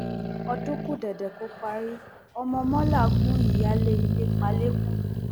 ọdún kù dẹdẹ kó parí ọmọ mọla gun ìyáálé ilé pa lẹkọọ